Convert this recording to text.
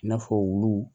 I n'a fɔ wulu